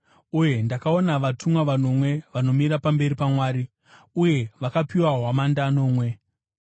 Uye ndakaona vatumwa vanomwe vanomira pamberi paMwari, uye vakapiwa hwamanda nomwe.